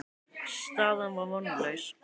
Staðan var vonlaus.